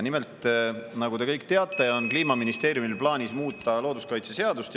Nimelt, nagu te kõik teate, on Kliimaministeeriumil plaanis muuta looduskaitseseadust.